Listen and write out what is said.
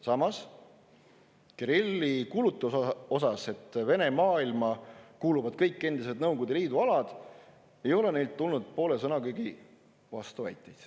Samas, Kirilli kuulutuse kohta, et Vene maailma kuuluvad kõik endised Nõukogude Liidu alad, ei ole neilt tulnud poole sõnagi võrra vastuväiteid.